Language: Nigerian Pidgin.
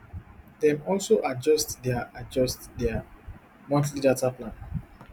dem also adjust dia adjust dia monthly data plans